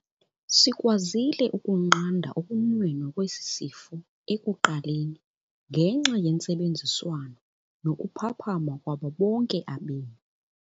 Sikwazile ukunqanda ukunwenwa kwesi sifo ekuqaleni ngenxa yentsebenziswano nokuphapha kwabo bonke abemi.